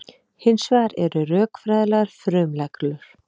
Hins vegar eru rökfræðilegar frumreglur.